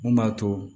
Mun b'a to